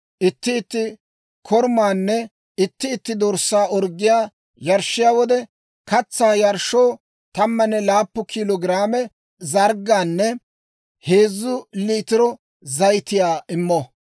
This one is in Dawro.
Itti itti korumaanne itti itti dorssaa orggiyaa yarshshiyaa wode, katsaa yarshshoo 17 kilo giraame zarggaanne heezzu liitiro zayitiyaa immo.